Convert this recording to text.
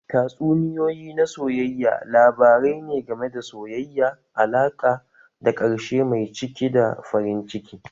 Tatsuniyoyi na soyayya labarai ne game da soyayya, alaƙa da ƙarshe mai cike da farin ciki.